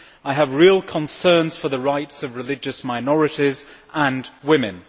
I have real concerns for the rights of religious minorities and women.